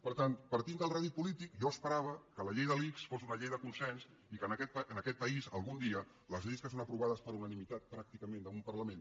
per tant partint del rèdit polític jo esperava que la llei de l’ics fos una llei de consens i que en aquest país algun dia les lleis que són aprovades per unanimitat pràcticament d’un parlament